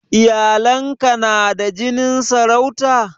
Iyalan ka na da jinin sarauta?